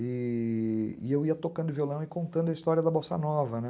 E... e eu ia tocando violão e contando a história da Bossa Nova, né.